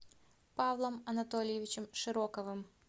павлом анатольевичем широковым